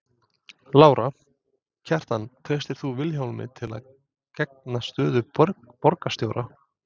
Lára: Kjartan treystir þú Vilhjálmi til að gegna stöðu borgarstjóra?